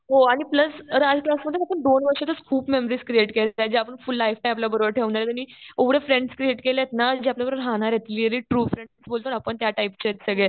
हो आणि प्लस राज क्लासमध्ये फक्त दोन वर्षातच खूप मेमरीज क्रिएट केल्या. ज्या आपण फुल लाइफटाइम आपल्या बरोबर ठेवणार आहेत आणि एवढे फ्रेंड्स क्रिएट केलेत ना जे आपल्याला बरोबर राहणार आहेत. रिएली ट्रू फ्रेंड्स बोलतो ना आपण त्या टाईपचे आहेत सगळे.